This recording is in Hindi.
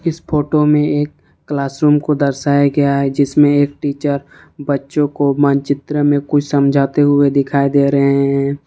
इस फोटो में एक क्लासरूम को दर्शाया गया है जिसमे एक टीचर बच्चों को मानचित्र में कुछ समझते हुए दिखाई दे रहे हैं।